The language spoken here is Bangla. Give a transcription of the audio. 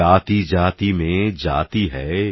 জাতিজাতিমেজাতিহ্যায়